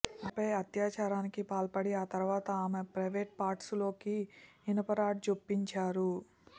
ఆమెపై అత్యాచారానికి పాల్పడి ఆ తర్వాత ఆమె ప్రైవేట్ పార్ట్స్లోకి ఇనుపరాడ్ జొప్పించారు